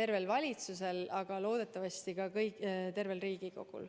tervel valitsusel, aga loodetavasti ka tervel Riigikogul.